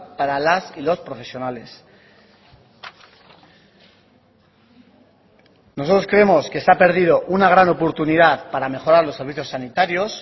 para las y los profesionales nosotros creemos que se ha perdido una gran oportunidad para mejorar los servicios sanitarios